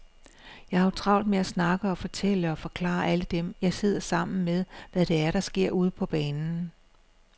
Jeg har jo travlt med at snakke og fortælle og forklare alle dem, jeg sidder sammen med, hvad det er, der sker ude på banen.